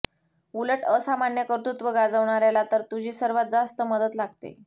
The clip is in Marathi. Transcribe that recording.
उलट असामान्य कर्तृत्व गाजवणाऱ्याला तर तुझी सर्वात जास्त मदत लागते